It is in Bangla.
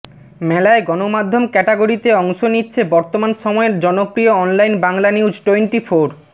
মেলায় গণমাধ্যম ক্যাটাগরিতে অংশ নিচ্ছে বর্তমান সময়ের জনপ্রিয় অনলাইন বাংলানিউজটোয়েন্টিফোর